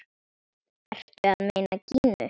Ertu að meina Gínu?